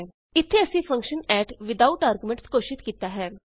ਇਥੇ ਅਸੀਂ function add without arguments ਘੋਸ਼ਿਤ ਕੀਤਾ ਹੈ